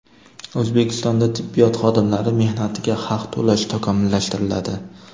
O‘zbekistonda tibbiyot xodimlari mehnatiga haq to‘lash takomillashtiriladi.